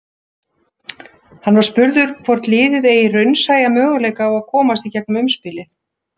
Hann var spurður hvort liðið eigi raunsæja möguleika á að komast í gegnum umspilið?